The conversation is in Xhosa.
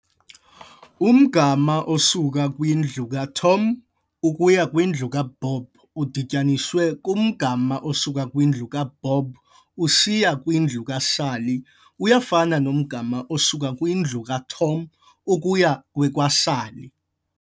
Umgama osuka kwindlu kaTom ukuya kwindlu kaBob udityaniswe kumgama osuka kwindlu kaBob usiya kwindlu kaSally, uyafana nomgama osuka kwindlu kaTom ukuya kwekaSally.